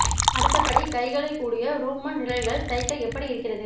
அடுத்த படி கைகளை கூடிய ரோமன் நிழல்கள் தைக்க எப்படி இருக்கிறது